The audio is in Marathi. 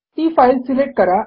ती फाईल सिलेक्ट करा